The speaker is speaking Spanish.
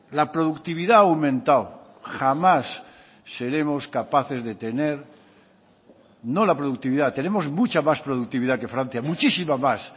la productividad ha aumentado jamás seremos capaces de tener no la productividad tenemos mucha más productividad que francia muchísima más